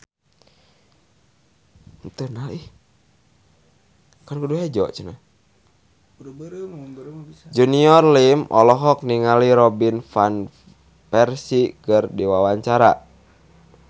Junior Liem olohok ningali Robin Van Persie keur diwawancara